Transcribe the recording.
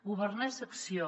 governar és acció